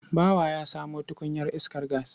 Bawa ya samo tukunyar iskar gas.